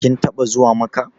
Kin taɓa zuwa Makkah?